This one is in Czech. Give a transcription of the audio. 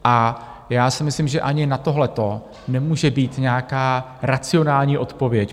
A já si myslím, že ani na tohleto nemůže být nějaká racionální odpověď.